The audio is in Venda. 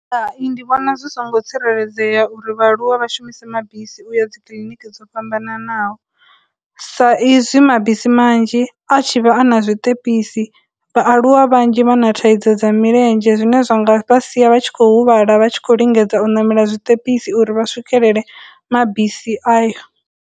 Hai, ndi vhona zwi songo tsireledzea uri vhaaluwa vha shumise mabisi uya dzi kiliniki dzo fhambananaho, sa izwi mabisi manzhi a tshi vha a na zwiṱepisi, vhaaluwa vhanzhi vha na thaidzo dza milenzhe zwine zwa nga vha sia vha tshi khou huvhala vha tshi khou lingedza u namela dzithekhisi uri vha swikelele mabisi ayo